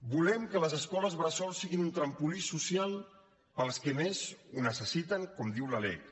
volem que les escoles bressol siguin un trampolí social per als que més ho necessiten com diu la lec